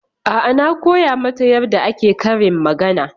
A'a na koya mata yarda ake karin magana.